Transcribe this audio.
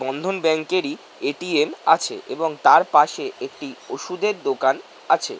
বন্ধন ব্যাঙ্কেরই এ.টি.এম. আছে। এবং তার পাশে একটি ওষুদের দোকান আছে ।